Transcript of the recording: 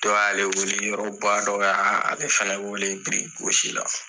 Dɔ y'ale wele yɔrɔba dɔ fana y'ale fana wele biriki gosi la